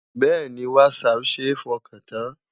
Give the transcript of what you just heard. Bẹ́ẹ̀ni, Whatsapp ṣe é fọkàn tán.